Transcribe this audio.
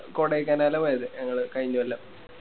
കൊടൈക്കനാല പോയത് ഞങ്ങള് കയിഞ്ഞ കൊല്ലം